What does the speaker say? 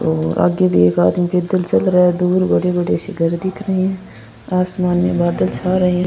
और आगे भी एक आदमी पैदल चल रहा है दूर बड़ी-बड़ी सी घर दिख रही है आसमान में बादल छा रहे है।